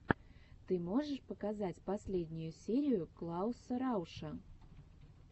ты можешь показать последнюю серию клауса рауша